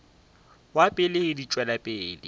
wa pele di tšwela pele